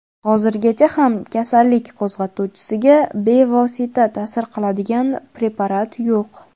Hozirgacha ham kasallik qo‘zg‘atuvchisiga bevosita ta’sir qiladigan preparat yo‘q.